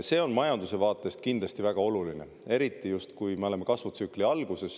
See on majanduse vaatest kindlasti väga oluline, eriti siis, kui me oleme kasvutsükli alguses.